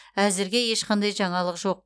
әзірге ешқандай жаңалық жоқ